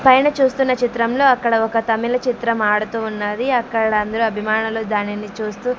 పైన చూస్తున్న చిత్రంలో అక్కడ ఒక తమిళ చిత్రం ఆడుతూ ఉన్నది అక్కడ అందరు అభిమానులు దానిని చూస్తూ--